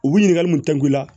U bi ɲininkali mun tɛngu la